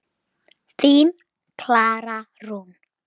Þín, Klara Rún.